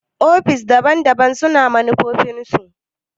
ofis daban-daban su na manufofin su.